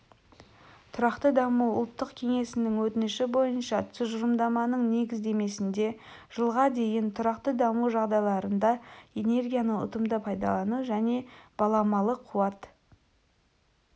тұрақты даму ұлттық кеңесінің өтініші бойынша тұжырымдаманың негіздемесінде жылға дейін тұрақты даму жағдайларында энергияны ұтымды пайдалану және баламалы қуат